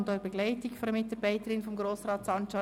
Sie werden von einer Mitarbeiterin von ihm begleitet.